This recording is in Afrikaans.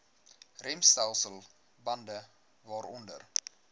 remstelsel bande waaronder